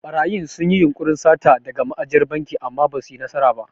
Ɓarayin sun yi yunƙurin sata daga ma'ajiyar banki amma basu yi nasara ba.